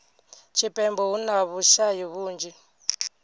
tshipembe hu na vhushayi vhunzhi